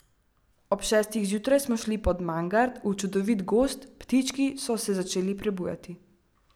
Ob šestih zjutraj smo šli pod Mangart, v čudovit gozd, ptički so se začeli prebujati.